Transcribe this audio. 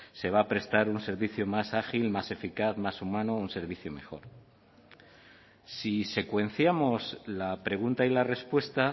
se va a prestar un servicio más ágil más eficaz más humano un servicio mejor si secuenciamos la pregunta y la respuesta